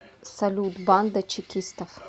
салют банда чекистов